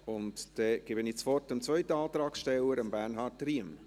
Ich gebe das Wort dem zweiten Antragsteller, Bernhard Riem.